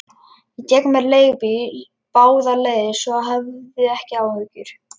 Ég tek mér leigubíl báðar leiðir, svo hafðu ekki áhyggjur.